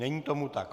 Není tomu tak.